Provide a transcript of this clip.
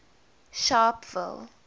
sharpeville